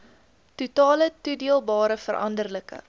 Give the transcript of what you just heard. totale toedeelbare veranderlike